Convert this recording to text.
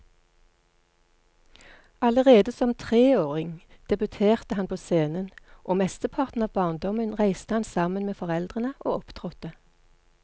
Allerede som treåring debuterte han på scenen, og mesteparten av barndommen reiste han sammen med foreldrene og opptrådte.